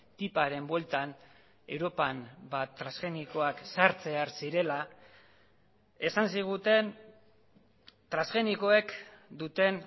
tiparen bueltan europan transgenikoak sartzear zirela esan ziguten transgenikoek duten